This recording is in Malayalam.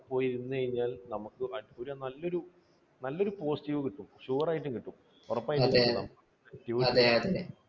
പോയിരുന്നു കഴിഞ്ഞാൽ നമുക്ക് നല്ലൊരു positive കിട്ടും. sure ആയിട്ടും കിട്ടും ഉറപ്പായിട്ടും കിട്ടും.